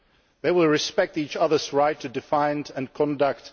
They will respect each other's right to define and conduct